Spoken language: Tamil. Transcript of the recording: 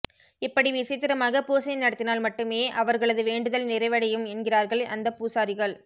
இப்படி விசித்திரமாக பூசை நடத்தினால் மட்டுமே அவர்களது வேண்டுதல் நிறைவடையும் என்கிறார்கள் அந்த பூசாரிகள்